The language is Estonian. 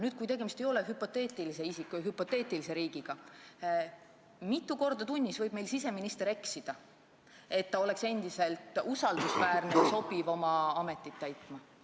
Nüüd, kui tegemist ei ole hüpoteetilise isiku ja hüpoteetilise riigiga, siis mitu korda tunnis võib meil siseminister eksida, et ta oleks endiselt usaldusväärne ja sobiv oma ametit pidama?